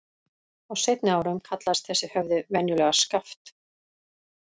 Á seinni árum kallaðist þessi höfði venjulega Skaft.